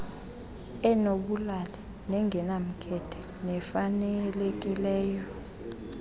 enobulali nengenamkhethe nefanelekileyo